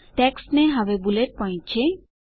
ટેક્સ્ટને હવે bullet point છે